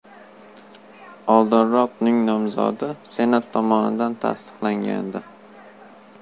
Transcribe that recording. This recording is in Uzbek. Oldinroq uning nomzodi Senat tomonidan tasdiqlangandi.